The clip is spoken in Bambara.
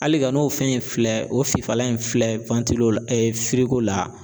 Hali ka n'o fɛn in filɛ o fifalan in filɛ la.